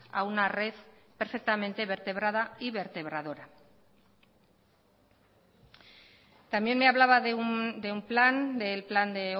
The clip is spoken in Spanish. a una red perfectamente vertebrada y vertebradora también me hablaba de un plan del plan de